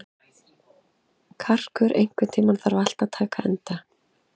Karkur, einhvern tímann þarf allt að taka enda.